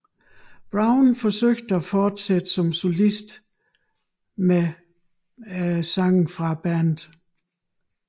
Browne forsøgte at fortsatte som solist emd bandets sange